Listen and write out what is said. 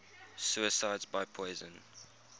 suicides by poison